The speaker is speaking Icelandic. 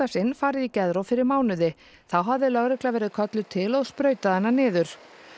sinn farið í geðrof fyrir mánuði þá hafði lögregla verið kölluð til og sprautað hana niður